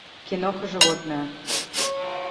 киноха животное